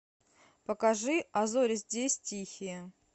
покажи а зори здесь тихие